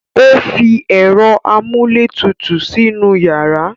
O fi ẹ̀rọ amúlétutù sínú yàrá.